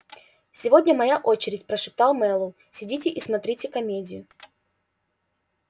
сегодня моя очередь прошептал мэллоу сидите и смотрите комедию